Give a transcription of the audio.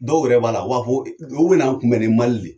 Dɔw yɛrɛ b'a la o b'a fɔ olu bɛna n kunbɛ ni mali de ye